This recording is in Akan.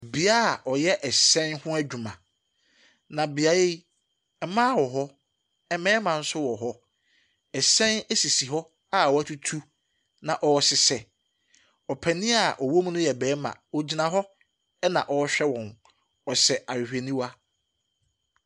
Bea a wɔyɛ hyɛn ho adwuma. Na beaeɛ yi, mmaa wɔ hɔ, mmarima nso wɔ hɔ. Hyɛn sisi hɔ a wɔatutu na wɔrehyehyɛ. Ɔpanin a ɔwɔ mu no yɛ barima. Ɔgyina hɔ na ɔrehwɛ wɔn. Ɔhyɛ ahwehwɛniwa.